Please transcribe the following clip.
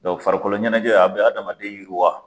Dɔnku farikolo ɲɛnajɛ a bɛ adamaden yiriwa.